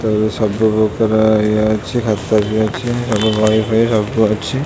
ତେଣୁ ସବୁ ପ୍ରକାର ଇଏ ଅଛି ଖାତା ବି ଅଛି ସବୁ ବହି ଫଇ ସବୁ ଅଛି।